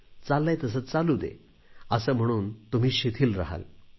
चाललेय तसे चालू दे असे म्हणून तुम्ही शिथिल रहाल